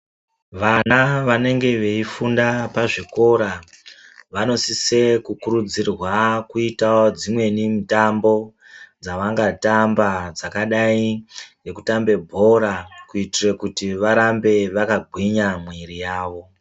Vana vanenge veifunda pazvikora vanosise kukurudzirwa kuita dzimweni mitambo dzavangatamba dzakadai ngekutamba bhora, kuitira kuti varambe vakagwinya mwiri yawo.